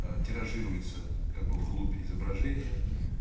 аа тиражируется как бы в глубь изображения